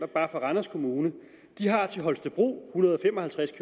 bare for randers kommune de har til holstebro en hundrede og fem og halvtreds